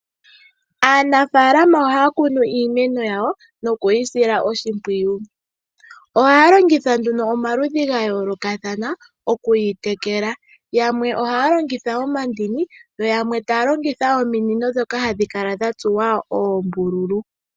Aanafaalama ohaya kunu iimeno yawo nokuyi sila oshimpwiyu . Ohaya longitha nduno omaludhi gayoolokathana okuyi tekela. Yamwe ohaya longitha omandini, yo yamwe taya longitha ominino ndhoka hadhi kala dha tsuwa oombululu.